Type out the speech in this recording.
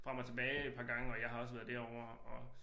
Frem og tilbage et par gange og jeg har også været derovre og